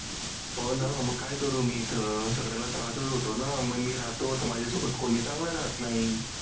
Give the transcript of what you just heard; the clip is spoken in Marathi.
हो ना म काय करू मी इथं? त्रासच होतो ना? मग मी राहतो तर माझ्यासोबत कोणी चांगलं राहत नाही.